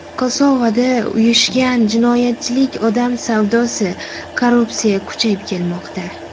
Kosovoda uyushgan jinoyatchilik, odam savdosi, korrupsiya kuchayib kelmoqda.